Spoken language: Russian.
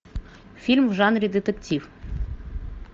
фильм в жанре детектив